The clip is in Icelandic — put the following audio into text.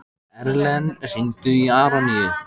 Erlen, hringdu í Aroníu.